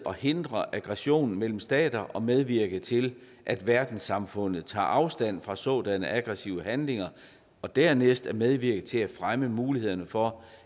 forhindre aggressioner mellem stater og medvirke til at verdenssamfundet tager afstand fra sådanne aggressive handlinger og dernæst at medvirke til at fremme mulighederne for